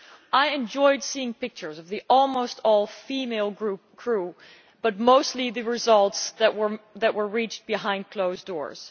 I enjoyed seeing pictures of the almost all female crew, but mostly the results that were reached behind closed doors.